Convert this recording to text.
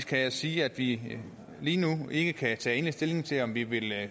kan jeg sige at vi lige nu ikke kan tage endelig stilling til om vi vil